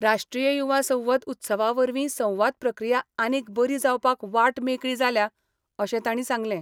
राष्ट्रीय युवा संसद उत्सवा वरवीं संवाद प्रक्रिया आनीक बरी जावपाक वाट मेकळी जाल्या अशें तांणी सांगलें.